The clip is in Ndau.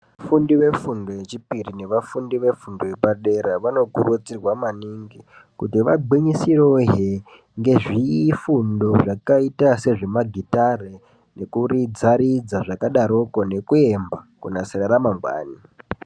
Vafundi vefundo yechipiri, nevafundi vefundo yepadera, vanokurudzirwa maningi, kuti vagwinyisewo hhe ngezvifundo zvakayita sezvemagitare, nekuridza ridza zvakadaroko, nekuyemba ,kunasira ramangwana.